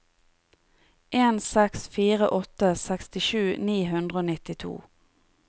en seks fire åtte sekstisju ni hundre og nittito